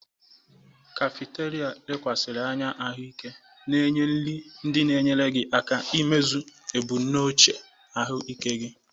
Kafétịria lekwasịrị anya ahụike na-enye nri ndị na-enyere gị aka imezu ebumnuche ahụike gị.